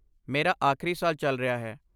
ਮੇਰਾ ਆਖਰੀ ਸਾਲ ਚੱਲ ਰਿਹਾ ਹੈ।